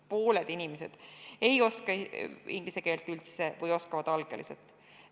Pooled inimesed ei oska inglise keelt üldse või oskavad algeliselt.